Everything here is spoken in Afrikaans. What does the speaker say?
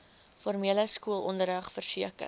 formele skoolonderrig verseker